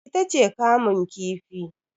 ita ce kamu kifi